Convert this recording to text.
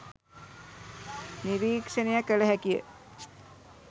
නිරීක්‍ෂණය කළ හැකිය.